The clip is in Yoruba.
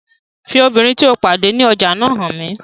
Fi obinrin ti o pade ni ọja lana han mi!